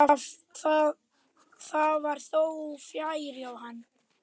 Það var þó fjarri sanni.